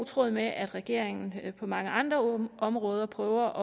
tråd med at regeringen på mange andre områder prøver